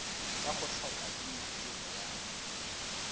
ka go tlhokaina tiro ya